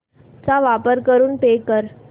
चा वापर करून पे कर